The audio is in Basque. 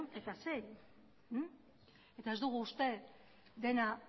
eta sei eta ez dugu uste dena